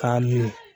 K'a min